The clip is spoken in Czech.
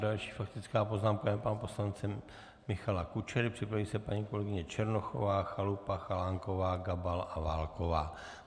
Další faktická poznámka je pana poslance Michala Kučery, připraví se paní kolegyně Černochová, Chalupa, Chalánková, Gabal a Válková.